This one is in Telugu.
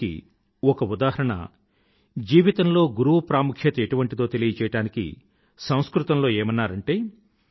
దీనికి ఒక ఉదాహరణ జీవితంలో గురువు ప్రాముఖ్యత ఎటువంటిదో తెలియచేయడానికి సంస్కృతంలో ఏమన్నారంటే